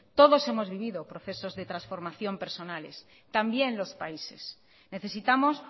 todos hemos vivido procesos de transformación personales también los países necesitamos